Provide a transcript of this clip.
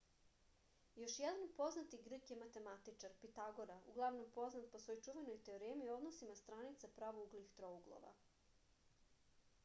još jedan poznati grk je matematičar pitagora uglavnom poznat po svojoj čuvenoj teoremi o odnosima stranica pravouglih trouglova